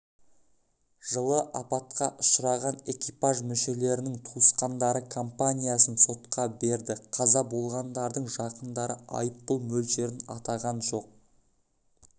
жылы апатқа ұшыраған экипаж мүшелерінің туысқандары компаниясын сотқа берді қаза болғандардың жақындары айыппұл мөлшерін атаған жоқ